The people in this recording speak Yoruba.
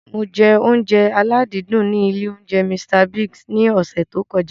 Mo jẹ oúnjẹ aládìídùn ní ilé oúnjẹ Mr Biggs ní ọsẹ̀ tí ó kọjá.